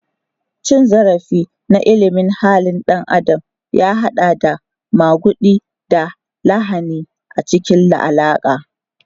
Cin zarafi na ilimin halin ɗan adam ya haɗa da maguɗi da lahani a cikin alaƙa.